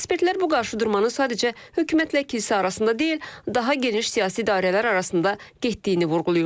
Ekspertlər bu qarşıdurmanı sadəcə hökumətlə kilsə arasında deyil, daha geniş siyasi dairələr arasında getdiyini vurğulayırlar.